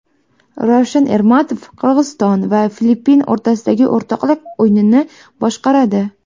Ravshan Ermatov Qirg‘iziston va Filippin o‘rtasidagi o‘rtoqlik o‘yinini boshqaradi.